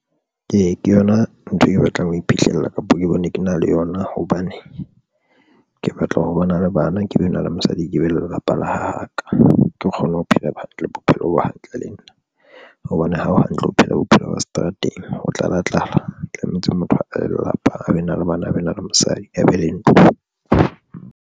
Ee, ke yona ntho e ke batlang ho iphihlella kapo ke bone ke na le yona hobane ke batla ho bona le bana ke be na le mosadi, ke be le lelapa la ka. Ke kgone ho phela bophelo bo hantle le nna hobane ha o hantle ho phela bophelo ba seterateng ho tlala tlala. Tlametse motho abe le lelapa, a be na le bana ba na le mosadi, a be le ntlo.